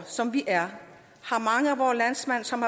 som vi er har mange af vore landsmænd som